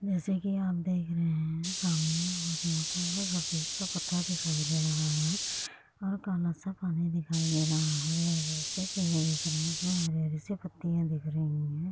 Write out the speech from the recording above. जैसे की आप देख रहे है सामने बहुत मोटा सा सफ़ेद सा पत्थर दिखाई दे रहा है और काला सा पानी दिखाई दे रहा है हरे- हरे से पेड़ दिख रहे है उसमे हरी-हरी सी पत्तियाँ दिख रही है।